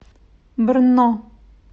брно